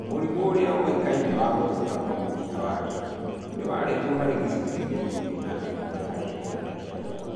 Mũrimũ ũrĩa ũĩkaine wa gũthũka kwa mũkiha wa ritho, nĩ warĩ kuo harĩ gĩcũnjĩ gĩa ikũmi na ĩmwe harĩ igana kĩa riboti